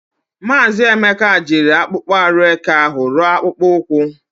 Maazi Emeka jiri akpokpo aru eke ahu ruo akpokpo ukwu.